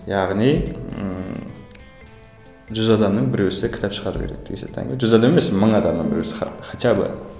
яғни ыыы жүз адамның біреуісі кітап шығару керек жүз адам емес мың адамның біреуісі хотя бы